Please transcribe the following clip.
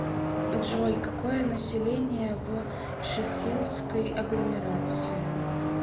джой какое население в шеффилдской агломерации